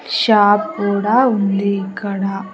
Shop కూడా ఉంది ఇక్కడ.